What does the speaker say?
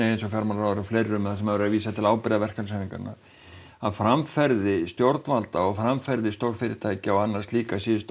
eins og fjármálaráðherra þar sem er verið að vísa til ábyrgðar verkalýðshreyfingarinnar að framferði stjórnvalda og framferði stórfyrirtækja og annarra slíkra síðustu